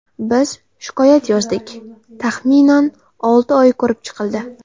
Biz shikoyat yozdik, taxminan, olti oy ko‘rib chiqildi.